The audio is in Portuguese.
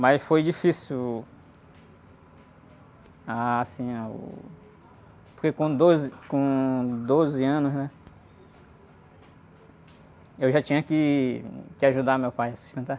Mas foi difícil, a, assim, a, o, porque com doze, com doze anos, né, eu já tinha que, que ajudar meu pai a sustentar.